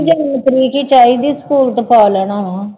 ਜ਼ਰੂਰਤ ਨੀਗੀ ਝਾਈ ਜੇ ਸਕੂਲ ਤਾਂ ਪਾ ਲੈਣਾ ਵਾਂ